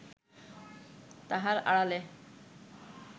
তাহার আড়ালে